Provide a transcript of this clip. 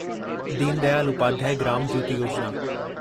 Deen Dayal Upadhyaya Gram Jyoti Yojana